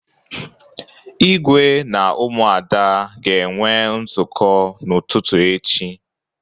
Ígwé na Ụmụada ga-enwe nzukọ n'ụtụtụ echi.